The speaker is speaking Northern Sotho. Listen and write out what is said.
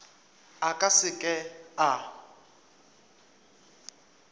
a ka se ke a